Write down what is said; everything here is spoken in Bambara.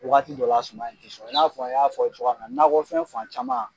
Wagati dɔ la suman ti sɔnɔ, i n'a fɔ, a y'a fɔ cogoya min na nɔkɔ fɛn fan caman